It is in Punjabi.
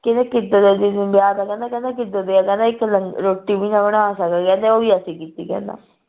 ਕਿਹੜਾ ਕਿੱਦਣ ਦਾ ਤੈਨੂੰ ਵਿਆਹ ਕਹਿੰਦਾ ਕਹਿੰਦਾ ਕਹਿੰਦਾ ਇਕ ਲੰਗਰ ਰੋਟੀ ਵੀ ਨਾ ਬਣਾ ਸਕਦੇ ਕਹਿੰਦੇ ਉਹ ਵੀ ਅਸੀਂ ਕੀਤੀ ਕਹਿੰਦਾ